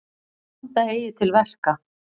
Vanda eigi til verka.